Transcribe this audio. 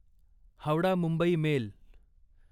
Howrah Mumbai mail